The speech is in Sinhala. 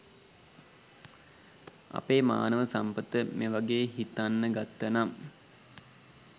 අපේ මානව සම්පත මේවගේ හිතන්නගත්තනම්